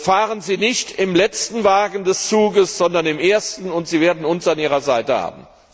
Fahren Sie nicht im letzten Wagen des Zuges, sondern im ersten und Sie werden uns an Ihrer Seite haben.